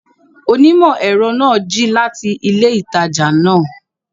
Onímọ̀-ẹ̀rọ náà jí láti ilé ìtajà náà